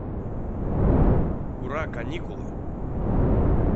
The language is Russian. ура каникулы